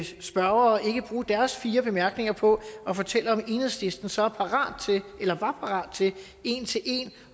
spørgere ikke bruge deres fire bemærkninger på at fortælle om enhedslisten så var parat til en til en